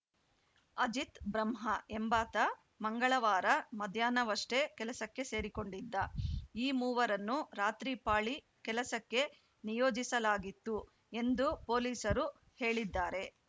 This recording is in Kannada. ಅಜಿತ್‌ ಬ್ರಹ್ಮ ಎಂಬಾತ ಮಂಗಳವಾರ ಮಧ್ಯಾಹ್ನವಷ್ಟೆಕೆಲಸಕ್ಕೆ ಸೇರಿಕೊಂಡಿದ್ದ ಈ ಮೂವರನ್ನು ರಾತ್ರಿ ಪಾಳಿ ಕೆಲಸಕ್ಕೆ ನಿಯೋಜಿಸಲಾಗಿತ್ತು ಎಂದು ಪೊಲೀಸರು ಹೇಳಿದ್ದಾರೆ